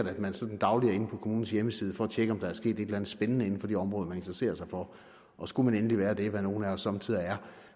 at man sådan dagligt er inde på kommunens hjemmeside for at tjekke om der er sket et eller andet spændende inden for det område man interesserer sig for og skulle man endelig være det hvad nogle af os somme tider er